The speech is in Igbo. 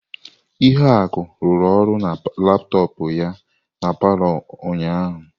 Ihuaku rụru ọrụ na laptọọpụ ya na palọ ụnyahụ.